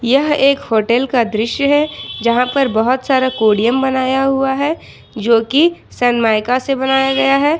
यह एक होटल का दृश्य है जहां पर बहुत सारा कोडियम बनाया हुआ है जो की सनमाइका से बनाया गया है।